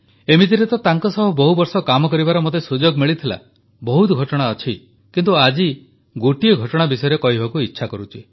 ଏମିତିରେ ତ ତାଙ୍କ ସହ ବହୁ ବର୍ଷ କାମ କରିବାର ମୋତେ ସୁଯୋଗ ମିଳିଥିଲା ବହୁତ ଘଟଣା ଘଟିଛି ଅଛି କିନ୍ତୁ ଆଜି ଗୋଟିଏ ଘଟଣା ବିଷୟରେ କହିବାକୁ ଇଚ୍ଛା କରୁଛି